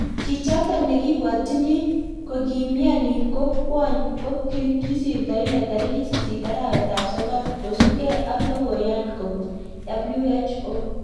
Chichotok nekibwatyini kokimianii ko kwony ko kisirto inee tarikit sisit arawet ap sokol kosupgei ak logoyan kobun WHO